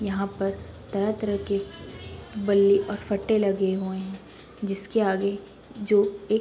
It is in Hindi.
यहाँ पर तरह तरह के बल्ली और फट्टे लगे हुए है जिसके आगे जो एक --